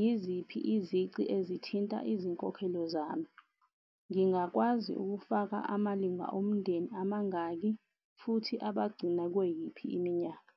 yiziphi izici ezithinta izinkokhelo zami, ngingakwazi ukufaka amalunga omndeni amangaki, futhi abagcina kweyiphi iminyaka.